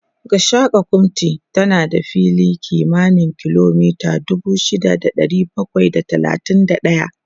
Gashaka-gumti tana da fili kimanin kilomita dubu shida da ɗari bakwai da talatin da ɗaya